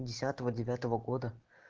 десятого девятого года